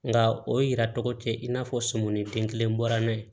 Nka o yira tɔgɔ tɛ in n'a fɔ sɔmɔ ni denkelen bɔra n'a ye